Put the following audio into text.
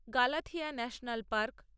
Galathea national park